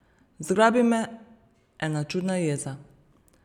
Zgrabi me ena čudna jeza.